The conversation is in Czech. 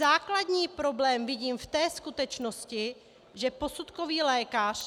Základní problém vidím v té skutečnosti, že posudkový lékař -